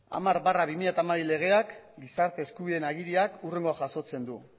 hamar barra bi mila hamabi legeak gizarte eskubideen agiriak hurrengoa jasotzen du